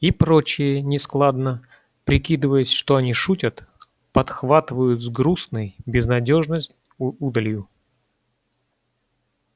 и прочие нескладно прикидываясь что они шутят подхватывают с грустной безнадёжной удалью